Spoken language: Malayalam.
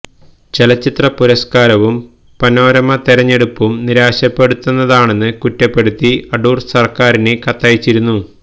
ചലച്ചിത്ര പുരസ്കാരവും പനോരമ തെരഞ്ഞെടുപ്പും നിരാശപ്പെടുത്തുന്നതാണെന്ന് കുറ്റപ്പെടുത്തി അടൂര് സര്ക്കാരിന് കത്തയച്ചിരുന്നു